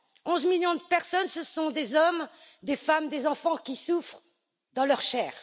Onze millions de personnes, ce sont des hommes, des femmes, des enfants qui souffrent dans leur chair.